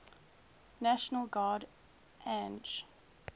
national guard ang